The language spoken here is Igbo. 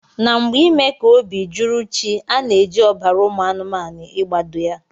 Na mgbe ime ka obi juru chi ana eji ọbara ụmụ anumanu igbado ya.